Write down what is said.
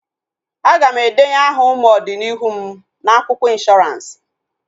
Aga m endenye aha ụmụ ọdi n'ihu m na akwụkwọ ịnshọransị